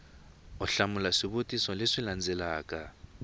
u hlamula swivutiso leswi landzelaka